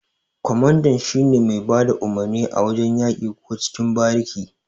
Ƙwamanda shine mai bada umurni a wajan yaki ko cikin bariki.